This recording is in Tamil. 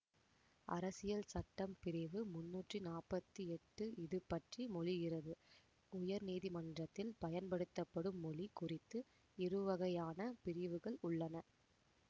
அரசியல் சட்டம் பிரிவு முன்னூற்றி நாப்பத்தி எட்டு இதுபற்றி மொழிகிறது உயர்நீதிமன்றத்தில் பயன்படுத்தப்படும் மொழி குறித்து இருவகையான பிரி வுகள் உள்ளன